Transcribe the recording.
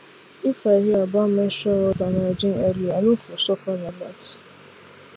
if i hear about menstrual health and hygiene early i no for suffer like that